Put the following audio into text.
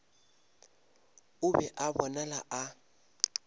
o be a bonala a